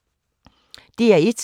DR1